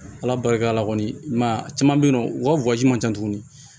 Ala barika la kɔni i man caman be yen nɔ u ka man ca tuguni